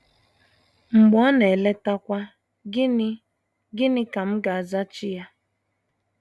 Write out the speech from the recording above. Mgbe Ọ na - eletakwa, gịnị gịnị ka m ga - azaghachi Ya? ”